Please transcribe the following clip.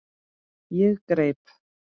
Ég greip